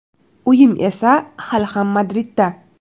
Uyim esa hali ham Madridda.